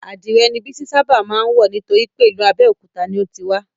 Adìrè ni Bísí ṣábà má ń wọ̀ nítorípé ìlú Abéòkúta ni o ti wá